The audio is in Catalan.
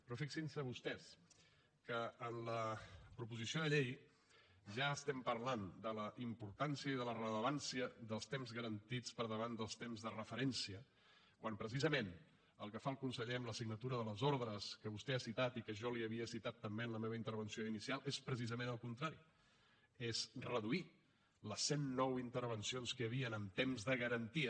però fixin se vostès que en la proposició de llei ja estem parlant de la importància i de la rellevància dels temps garantits per davant dels temps de referència quan precisament el que fa el conseller amb la signatura de les ordres que vostè ha citat i que jo li havia citat també en la meva intervenció inicial és precisament el contrari és reduir les cent nou intervencions que hi havia en temps de garantia